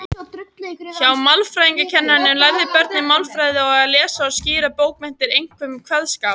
Hjá málfræðikennaranum lærðu börnin málfræði og að lesa og skýra bókmenntir, einkum kveðskap.